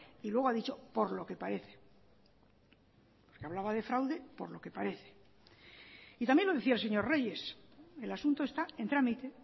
y luego ha dicho por lo que parece hablaba de fraude por lo que parece y también lo decía el señor reyes el asunto está en trámite